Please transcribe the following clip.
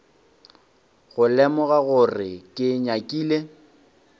go lemoga gore ke nyakile